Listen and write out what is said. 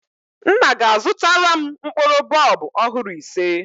Nna ga-azụtara m mkpụrụ bọlbụ ọhụrụ ise